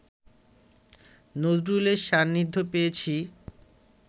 নজরুলের সান্নিধ্য পেয়েছি